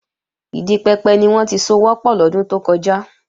Ìdi pẹpẹ ni wọ́n ti sowọ́n pọ̀ lọ́dún tó kọjá